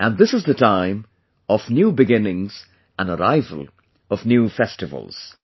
And this time is the beginning of new beginnings and arrival of new Festivals